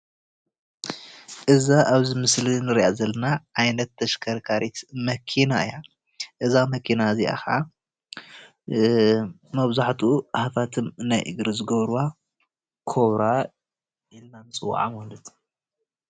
እዛ ኣብ እዚ ምስሊ እንሪኣ ዘለና ዓይነት ተሽከርካሪት መኪና እያ፡፡ እዛ መኪና እዚኣ ከዓ መብዛሕትኡ ሃፋትም ናይ እግሪ ዝገብርዋ ኮብራ ኢልና ንፅዋዓ ማለት እዩ፡፡